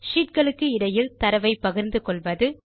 sheet களுக்கு இடையில் தரவை பகிர்ந்துகொள்வது